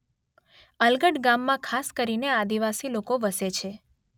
અલગટ ગામમાં ખાસ કરીને આદિવાસી લોકો વસે છે.